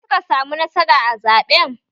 Ya suka samu nasara a zaɓen?